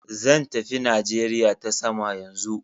Zan tafi Najeriya ta jirgin sama yanzu.